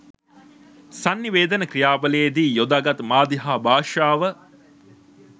සන්නිවේදන ක්‍රියාවලියේ දී යොදා ගත් මාධ්‍ය හා භාෂාව